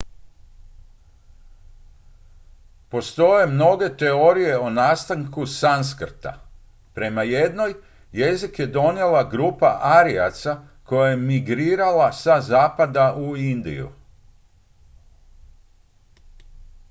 postoje mnoge teorije o nastanku sanskrta prema jednoj jezik je donijela grupa arijaca koja je migrirala sa zapada u indiju